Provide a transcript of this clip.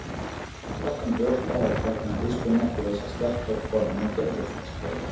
Stækkun brjósta er gjarnan fyrstu merki þess að stelpa er komin á kynþroskaskeið.